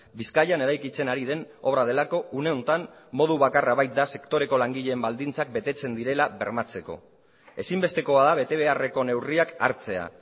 bizkaian eraikitzen ari den obra delako une honetan modu bakarra baita sektoreko langileen baldintzak betetzen direla bermatzeko ezinbestekoa da betebeharreko neurriak hartzea